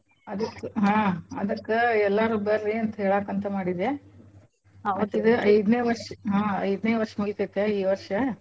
ಅದಕ್ಕ್ ಹಾ ಅದಕ್ಕ ಎಲ್ಲಾರೂ ಬರ್ರಿ ಅಂತ ಹೇಳಾಕಂತ ಮಾಡಿದ್ದೇ. ಅವತ್ಗೆ ಐದನೇ ವರ್ಷ್ ಹಾ ಐದನೇ ವರ್ಷ್ ಮೂಗಿತೇತ್ಯಾ ಈ ವರ್ಷ.